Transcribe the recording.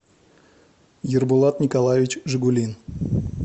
ербулат николаевич жегулин